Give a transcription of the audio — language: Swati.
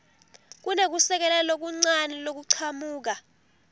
kunekusekela lokuncane lokuchamuka